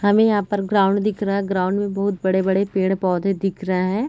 हमें यहाँ पर ग्राउंड दिख रहा है | ग्राउंड में बहुत बड़े बड़े पेड़ पौधे दिख रहा है |